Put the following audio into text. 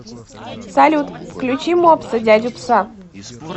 салют включи мопса дядю пса